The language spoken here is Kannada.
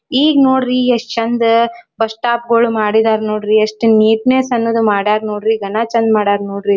ಈಗ್ ನೋಡ್ರಿ ಎಷ್ಟ್ ಚಂದ ಬಸ್ ಸ್ಟಾಪ್ ಗೊಳ್ ಮಾಡಿದರ್ ನೋಡ್ರಿ ಎಸ್ಟ್ ನೀಟ್ನೆಸ್ ಅನ್ನೋದ ಮಾಡ್ಯಾರ್ ನೋಡ್ರಿ ಘನ ಚಂದ್ ಮಾಡ್ಯಾರ್ ನೋಡ್ರಿ.